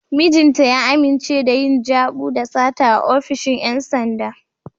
Mijinta ya amince da yin jabu da sata a ofishin ‘yan sanda.